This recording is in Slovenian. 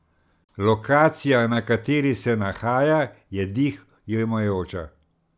Lokacija, na kateri se nahaja, je dih jemajoča.